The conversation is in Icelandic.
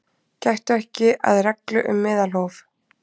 Gættu ekki að reglu um meðalhóf